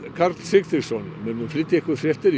Karl Sigtryggsson flytjum ykkur fréttir